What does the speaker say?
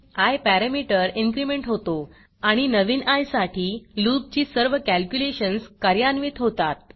I parameter increment होतो आणि नवीन आय साठी loopलूप ची सर्व कॅलक्युलेशन्स कार्यान्वित होतात